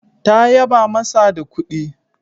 Ta yaba masa da kudi